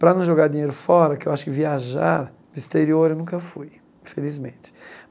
Para não jogar dinheiro fora, que eu acho que viajar para o exterior eu nunca fui, infelizmente.